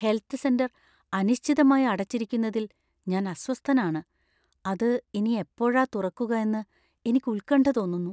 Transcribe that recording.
Health centre അനിശ്ചിതമായി അടച്ചിരിക്കുന്നതിൽ ഞാൻ അസ്വസ്ഥനാണ്, അത് ഇനി എപ്പോഴാ തുറക്കുക എന്ന് എനിക്ക് ഉത്കണ്ഠ തോന്നുന്നു. .